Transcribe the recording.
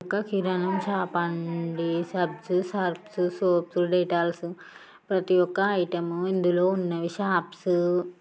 ఇది ఒక కిరానా షాప్ అండి సబ్స్ సరఫ్స్ సోప్స్ డేటాల్స్ ప్రతి ఒక్క ఐటెం ఇందులో ఉన్నవి. షాప్స్ --